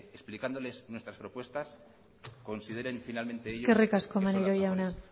explicándoles nuestras propuestas consideren finalmente ellos eskerrik asko maneiro jauna